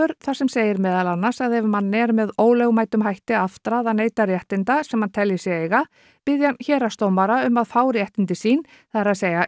þar sem segir meðal annars að ef manni er með ólögmætum hætti aftrað að neyta réttinda sem hann telji sig eiga biðji hann héraðsdómara um að hann fá réttindi sín það er